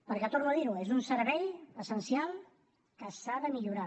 perquè torno a dir ho és un servei essencial que s’ha de millorar